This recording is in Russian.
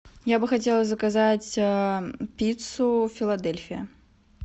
я бы хотела заказать пиццу филадельфия